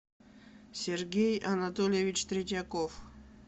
сергей анатольевич третьяков